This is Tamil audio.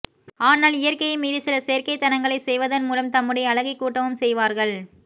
ஆனால் இயற்கையை மீறி சில செயற்கைத் தனங்களைச் செய்வதன் மூலம் தம்முடைய அழகை கூட்டவும் செய்வார்கள்